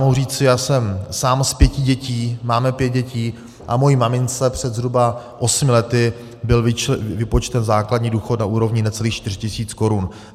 Mohu říci, já jsem sám z pěti dětí, máme pět dětí a mojí mamince před zhruba osmi lety byl vypočten základní důchod na úrovni necelých 4 tisíc korun.